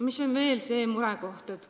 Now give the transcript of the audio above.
Mis on veel murekoht?